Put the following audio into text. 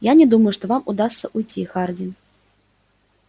я не думаю что вам удастся уйти хардин